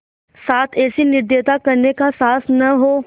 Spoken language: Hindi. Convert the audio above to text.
साथ ऐसी निर्दयता करने का साहस न हो